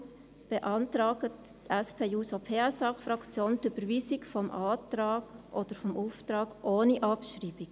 Deshalb beantragt die SP-JUSO-PSA-Fraktion die Überweisung des Antrags, respektive des Auftrags ohne Abschreibung.